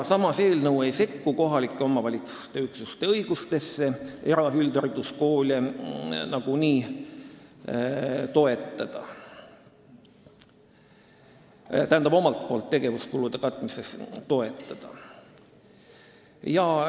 Samas ei sekku eelnõu kohaliku omavalitsuse üksuste õigusesse eraüldhariduskoole omalt poolt tegevuskulude katmisel toetada.